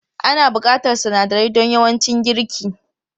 Ana buƙatar sunadarai don yawancin girki.